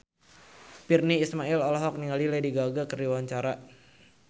Virnie Ismail olohok ningali Lady Gaga keur diwawancara